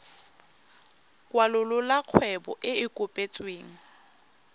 kwalolola kgwebo e e kopetsweng